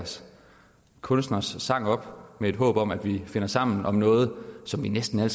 kunstners sang op med et håb om at vi finder sammen om noget som vi næsten